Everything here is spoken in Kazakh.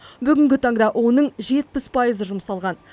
бүгінгі таңда оның жетпіс пайызы жұмсалған